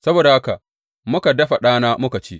Saboda haka muka dafa ɗana muka ci.